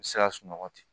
U bɛ se ka sunɔgɔ ten